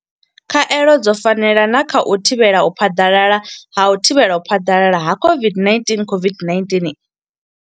Khaelo dzo fanela na kha u thivhela u phaḓalala ha u thivhela u phaḓalala ha COVID-19 COVID-19